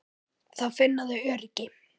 Þá finna þau öryggi.